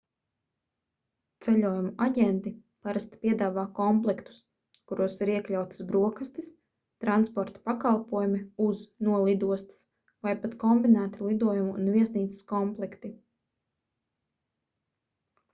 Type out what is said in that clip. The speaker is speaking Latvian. ceļojumu aģenti parasti piedāvā komplektus kuros ir iekļautas brokastis transporta pakalpojumi uz/no lidostas vai pat kombinēti lidojumu un viesnīcas komplekti